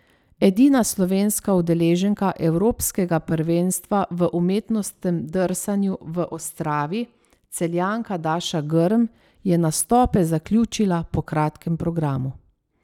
Edina slovenska udeleženka evropskega prvenstva v umetnostnem drsanju v Ostravi, Celjanka Daša Grm, je nastope zaključila po kratkem programu.